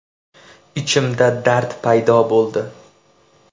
Ichimda dard paydo bo‘ldi.